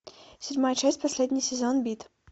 седьмая часть последний сезон бит